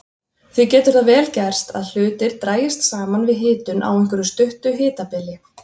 Því getur það vel gerst að hlutir dragist saman við hitun á einhverju stuttu hitabili.